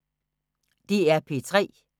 DR P3